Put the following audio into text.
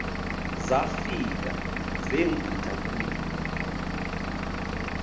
zafika zegqitha kum